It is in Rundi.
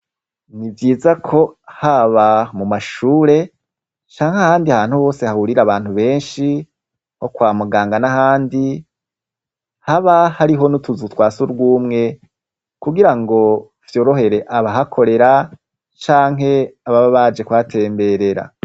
Ni vyiza ko haba mu mashure canke ahandi ahantu hose hahurira abantu benshi nko kwa muganga n'ahandi, haba hariho n'utuzu twa surwumwe kugira ngo vyorohere abahakorera canke ababa baje kuhatemberera.